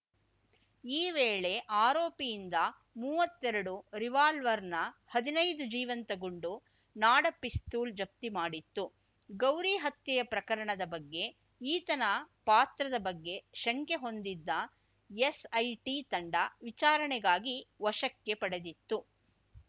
ಈ ವೇಳೆ ಆರೋಪಿಯಿಂದ ಮುವ್ವತ್ತೆರಡು ರಿವಾಲ್ವರ್‌ನ ಹದಿನೈದು ಜೀವಂತ ಗುಂಡು ನಾಡ ಪಿಸ್ತೂಲ್‌ ಜಪ್ತಿ ಮಾಡಿತ್ತು ಗೌರಿ ಹತ್ಯೆಯ ಪ್ರಕರಣದ ಬಗ್ಗೆ ಈತನ ಪಾತ್ರದ ಬಗ್ಗೆ ಶಂಕೆ ಹೊಂದಿದ್ದ ಎಸ್‌ಐಟಿ ತಂಡ ವಿಚಾರಣೆಗಾಗಿ ವಶಕ್ಕೆ ಪಡೆದಿತ್ತು